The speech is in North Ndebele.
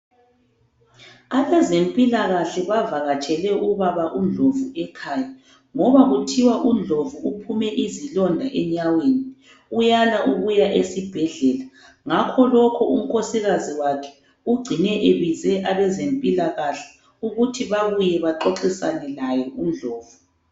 Abezempilakahle bavakatshele ubaba uNdlovu ekhaya ngoba kuthiwa uNdlovu uphume izilonda enyaweni uyala ukuya esibhedlela ngakho lokho unkosikazi wakhe ugcine ebize abezempilakahle ukuthi bebuye baxoxisane laye uNdlovu.